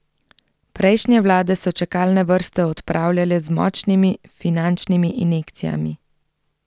Prejšnje vlade so čakalne vrste odpravljale z močnimi finančnimi injekcijami.